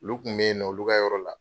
Olu kun bɛ yen nɔ olu ka yɔrɔ la.